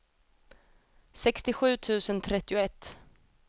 sextiosju tusen trettioett